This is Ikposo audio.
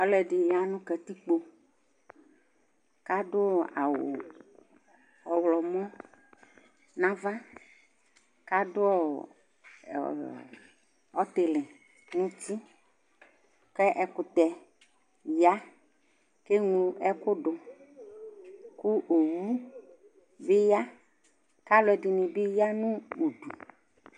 Alʊɛdɩ ya nʊ katɩkpo, kadʊ awʊ ɔwlɔmɔ nava, kadʊ ɔtɩlɩ nutɩ Kɛkʊtɛ ya keglo ɛkʊdʊ, kʊ owʊ bi ya kalʊɛdɩnɩ bɩ ya nʊdʊ